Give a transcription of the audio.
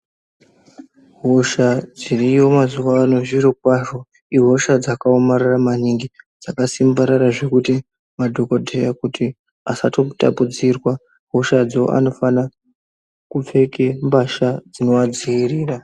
Hosha dziriyo mazuwa ano zviro kwazvo ihosha dzakaomarara maningi. Dzakasimbarara zvekuti madhokodheya kuti asatopotapudzirwa hoshadzo anofana kupfeke mbasha dzinoadziirira.